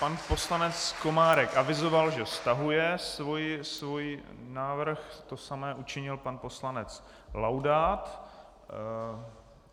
Pan poslanec Komárek avizoval, že stahuje svůj návrh, to samé učinil pan poslanec Laudát.